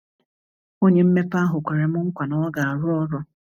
Onye mmepe ahụ kwerem nkwa na ọ ga-arụ ọrụ.